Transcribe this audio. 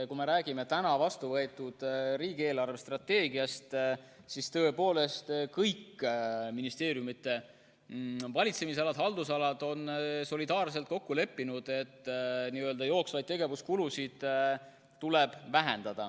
Kui me räägime vastuvõetud riigi eelarvestrateegiast, siis tõepoolest, kõigi ministeeriumide valitsemisalad või haldusalad on solidaarselt kokku leppinud, et jooksvaid tegevuskulusid tuleb vähendada.